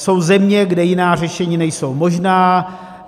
Jsou země, kde jiná řešení nejsou možná.